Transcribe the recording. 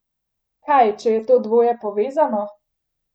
Kaj, če je to dvoje povezano?